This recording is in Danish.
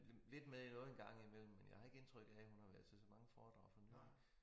Lidt med i noget en gang imellem men jeg har ikke indtryk af at hun har været til så mange foredrag for nylig